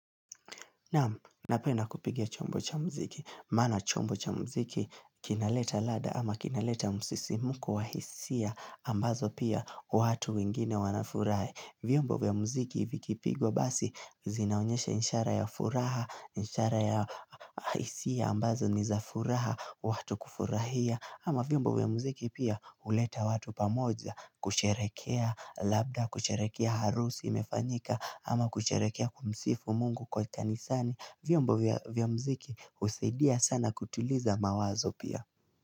Naam, napenda kupiga chombo cha muziki. Maana chombo cha mziki kinaleta ladha ama kinaleta msisimko wa hisia ambazo pia watu wengine wanafurahi vyombo vya muziki vikipigwa basi zinaonyesha ishara ya furaha, ishara ya hisia ambazo ni za furaha, watu kufurahia. Ama vyombo vya muziki pia huleta watu pamoja kusherekea labda kusherekea harusi imefanyika ama kusherekea kumsifu mungu kwa kanisani vyombo vya mziki husaidia sana kutuliza mawazo pia.